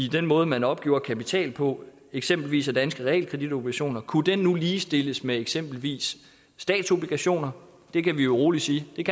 den måde man opgjorde kapital på eksempelvis af danske realkreditobligationer for kunne det nu ligestilles med eksempelvis statsobligationer det kan vi jo rolig sige